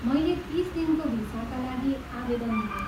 मैले तिस दिनको भिसाका लागि आवेदन दिएँ।